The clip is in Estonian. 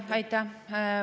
Aitäh!